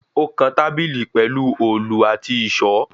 Ó kan tábìlì pẹ̀lu òòlù àti ìṣọ.